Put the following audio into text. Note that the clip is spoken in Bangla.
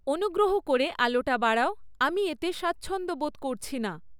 অনুগ্রহ করে আলোটা বাড়াও আমি এতে স্বাচ্ছন্দ্য বোধ করছি না